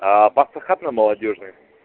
паста хат на молодёжной